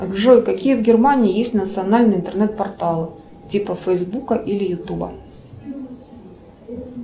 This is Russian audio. джой какие в германии есть национальные интернет порталы типа фейсбука или ютуба